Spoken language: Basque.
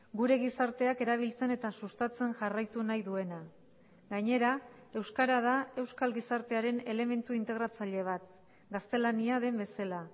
gure gizarteak erabiltzen eta sustatzen jarraitu nahi duena gainera euskara da euskal gizartearen elementu integratzaile bat gaztelania den bezala